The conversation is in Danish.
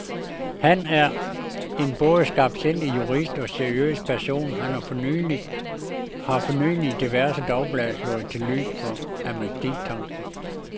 Han, der er en både skarpsindig jurist og seriøs person, har for nylig i diverse dagblade slået til lyd for amnestitanken.